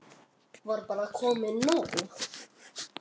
Var bara komið nóg?